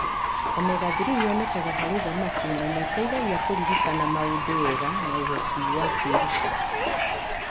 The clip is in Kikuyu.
Omega-3 yonekaga harĩ thamaki na nĩ ĩteithagia kũririkana maũndũ wega na ũhoti wa kwĩruta.